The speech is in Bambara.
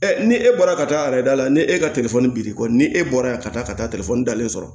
ni e bɔra ka taa a yɛrɛ da la ni e ka biriki kɔ ni e bɔra yan ka taa ka taa dalen sɔrɔ